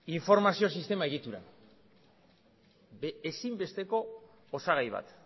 informazio sistema egituran ezinbesteko osagai bat